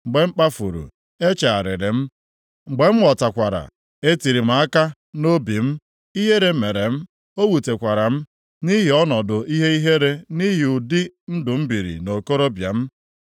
Mgbe m kpafuru, echegharịrị m. Mgbe m ghọtakwara, e tiri m aka nʼobi m, ihere mere m, ọ wutekwara m nʼihi nʼọnọdụ ihe ihere nʼihi ụdị ndụ m biri nʼokorobịa m.’